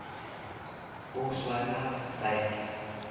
o swara style